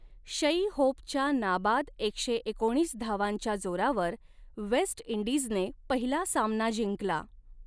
शई होपच्या नाबाद एकशे एकोणीस धावांच्या जोरावर वेस्ट इंडीजने पहिला सामना जिंकला.